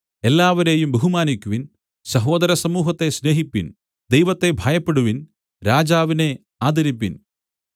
എല്ലാവരെയും ബഹുമാനിക്കുവിൻ സാഹോദര സമൂഹത്തെ സ്നേഹിപ്പിൻ ദൈവത്തെ ഭയപ്പെടുവിൻ രാജാവിനെ ആദരിപ്പിൻ